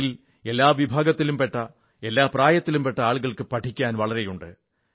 അതിൽ എല്ലാ വിഭാഗത്തിലും പെട്ട എല്ലാ പ്രായത്തിലും പെട്ട ആളുകൾക്ക് പഠിക്കാൻ വളരെയുണ്ട്